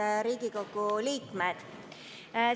Head Riigikogu liikmed!